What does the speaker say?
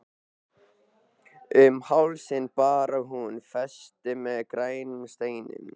Um hálsinn bar hún festi með grænum steinum.